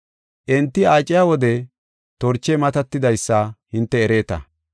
Enti aaciya wode torchey matatidaysa hinte ereeta.